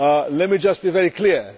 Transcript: Let me just be very clear.